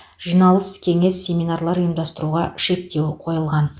жиналыс кеңес семинарлар ұйымдастыруға шектеу қойылған